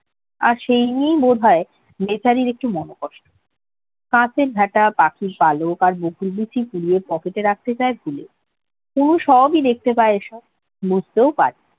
আর সেই নিয়েই বোধহয় বেচারির একটু মনে কষ্ট । গাছের ঝাঁটা পাখির পালক আর বকুল বিচি pocket রাখা তার হয় না কুমু সবই দেখতে পায় এইসব বুজতে পারে